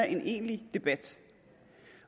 en egentlig debat